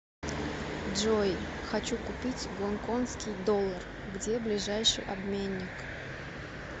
джой хочу купить гонконгский доллар где ближайший обменник